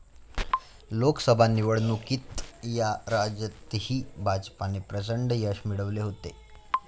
लोकसभा निवडणुकीत या राज्यातही भाजपने प्रचंड यश मिळवले होते.